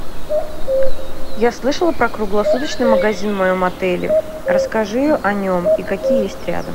я слышала про круглосуточный магазин в моем отеле расскажи о нем и какие есть рядом